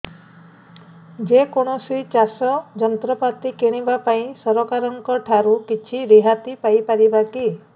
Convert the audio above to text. ଯେ କୌଣସି ଚାଷ ଯନ୍ତ୍ରପାତି କିଣିବା ପାଇଁ ସରକାରଙ୍କ ଠାରୁ କିଛି ରିହାତି ପାଇ ପାରିବା କି